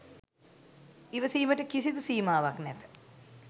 ඉවසීමට කිසිදු සීමාවක් නැත.